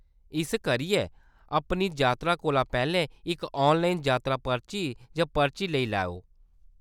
इस करियै, अपनी जातरा कोला पैह्‌‌‌लें इक ऑनलाइन जातरा पर्ची जां पर्ची लेई लैएओ।